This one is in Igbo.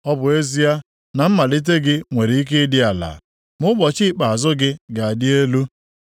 Ọ bụ ezie, na mmalite gị nwere ike ịdị ala, ma ụbọchị ikpeazụ gị ga-adị elu.